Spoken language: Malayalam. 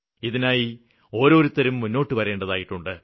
ഇതിനായി ഓരോരുത്തരും മുന്നോട്ടുവരേണ്ടതായിട്ടുണ്ട്